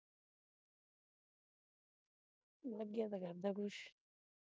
ਲੱਗੇ ਤਾਂ ਕਰਦਾ ਕੁੱਝ।